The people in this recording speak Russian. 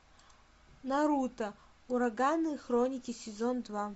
наруто ураганные хроники сезон два